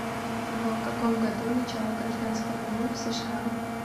в каком году начало гражданской войны в сша